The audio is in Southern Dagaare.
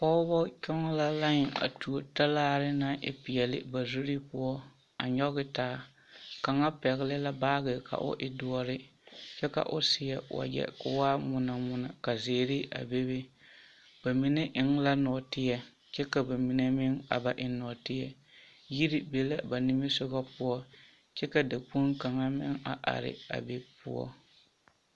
Pɔgeba kyɔŋ la laen a tuo talaare naŋ e peɛle ba zuri poɔ a nyɔge taa kaŋa pɛgle la baage ka o e doɔre kyɛ ka o seɛ wagyɛ ka o waa ŋmono ŋmono ka zeere a bebe ba mine eŋ la nɔɔteɛ kyɛ ka ba mine meŋ a ba eŋ nɔɔteɛ yiri be la ba nimisogɔ poɔ kyɛ ka dakpoŋ kaŋa meŋ a are a be poɔ.